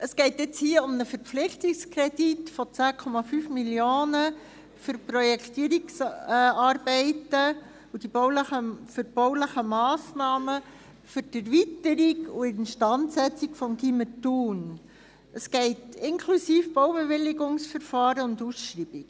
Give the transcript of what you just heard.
der BaK. Es geht hier um einen Verpflichtungskredit von 10,5 Mio. Franken für Projektierungsarbeiten und bauliche Massnahmen für die Erweiterung und Instandsetzung des Gymnasiums Thun, inklusive Baubewilligungsverfahren und Ausschreibung.